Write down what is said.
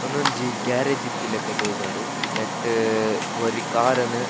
ಉಂದೊಂಜಿ ಗ್ಯಾರೇಜ್ ಇತ್ತಿಲಕ ತೋಜುಂಡು ನೆಟ್ಟ್ ಒರಿ ಕಾರ್ ನ್ .